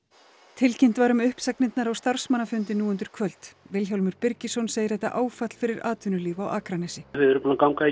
tilkynnt var um uppsagnirnar á starfsmannafundi nú undir kvöld Vilhjálmur Birgisson segir þetta áfall fyrir atvinnulíf á Akranesi við erum búin að ganga